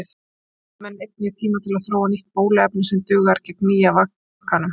Þá þurfa vísindamenn einnig tíma til að þróa nýtt bóluefni sem dugar gegn nýja vakanum.